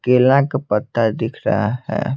केला का पत्ता दिख रहा है।